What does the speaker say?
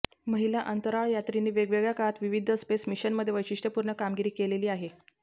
महिला अंतराळयात्रींनी वेगवेगळ्या काळात विविध स्पेस मिशनमध्ये वैशिष्ट्यपूर्ण कामगिरी केलेली आहे